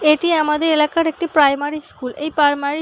এটি আমাদের এলাকার একটি প্রাইমারি স্কুল । এই প্রাইমারি --